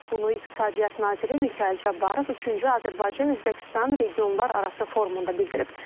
Bunu İqtisadiyyat naziri Mikayıl Cabbarov üçüncü Azərbaycan-Özbəkistan regionlararası forumunda bildirib.